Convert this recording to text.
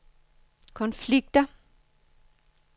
konflikter